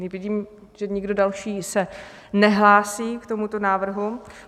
Vidím, že nikdo další se nehlásí k tomuto návrhu.